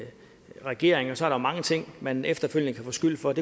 regering så er der mange ting man efterfølgende kan få skyld for at